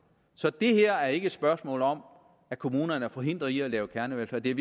så det her er ikke et spørgsmål om at kommunerne er forhindret i at lave kernevelfærd det er